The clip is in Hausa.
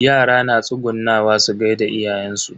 Yara na tsugunnawa su gaida iyayen su.